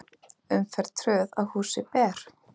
Umferð tröð að húsi ber.